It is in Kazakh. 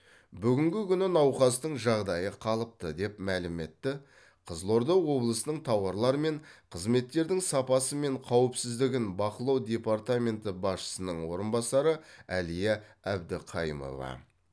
бүгінгі күні науқастың жағдайы қалыпты деп мәлім етті қызылорда облысының тауарлар мен қызметтердің сапасы мен қауіпсіздігін бақылау департаменті басшысының орынбасары әлия әбдіқайымова